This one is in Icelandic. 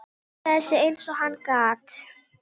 Jón náði reyk, leit upp og ávarpaði hann fullum rómi.